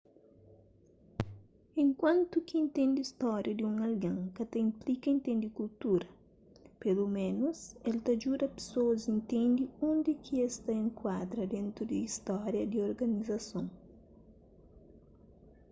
enkuantu ki intende stória di un algen ka ta inplika intende kultura peloménus el ta djuda pesoas intende undi ki es ta enkuadra dentu di stória di organizason